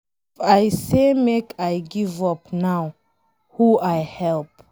If I say make I give up now, who I help?